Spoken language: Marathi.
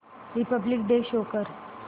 रिपब्लिक डे शो कर